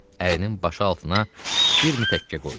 Ərinin başı altına bir mütəkkə qoydu.